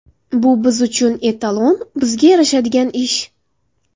Bu biz uchun etalon, bizga yarashadigan ish.